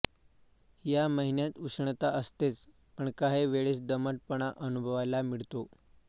या महिन्यात उष्णता असतेच पण काही वेळेस दमटपणा अनुभवायला मिळतो